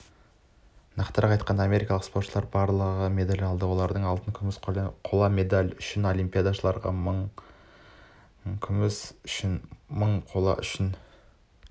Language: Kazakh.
нақтырақ айтқанда америкалық спортшылар барлығы медаль алды олардың алтын күміс қола медаль алтын үшін олимпиадашыларға мың күміс үшін мың қола үшін